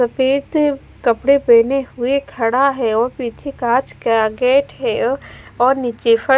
सफेद कपड़े पेहने हुए खड़ा है वो पीछे काच का गेट है और नीचे फ--